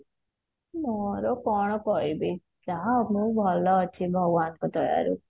ମୋର କଣ କହିବି ଯାହା ହଉ ମୁଁ ଭଲ ଅଛି ଭଗବାନଙ୍କ ଦୟାରୁ